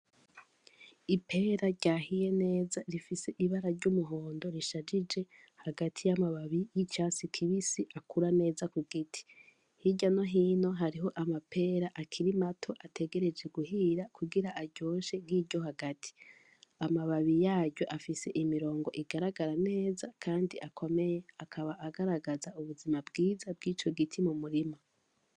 Ipera ryahiye neza rifise ibara ry'umuhondo rishajije hagati y'amababi y'icatsi kibisi akura neza ku giti, hirya no hino hariho amapera akiri mato ategereje guhira kugira aryoshe nk'iryo hagati, amababi yaryo afise imirongo igaragara neza kandi akomeye akaba agaragaza ubuzima bwiza bw'ico giti mu murima.